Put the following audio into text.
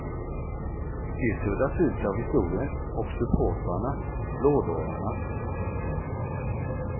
De suddas ut av historien och supportrarna, blådårarna.